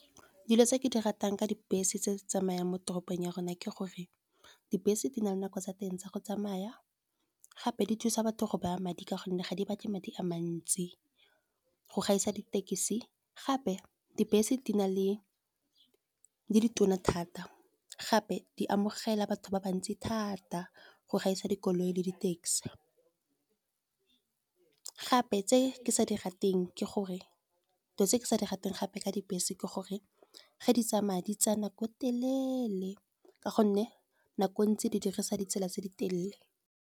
Dilo tse ke di ratang ka dibese tse di tsamayang mo toropong ya rona ke gore, dibese di na le nako tsa teng tsa go tsamaya gape di thusa batho go baya madi ka gonne, ga di batle madi a mantsi, go gaisa ditekisi. Gape dibese di ditona thata, gape di amogela batho ba bantsi thata go gaisa dikoloi le di-taxi. Gape dilo tse ke sa di rateng gape ka dibese ke gore, ga di tsamaya di tsa nako e telele, ka gonne nako ntse di dirisa ditsela tse di telele.